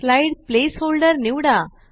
slide placeholder निवडा